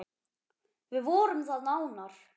Við vorum það nánar.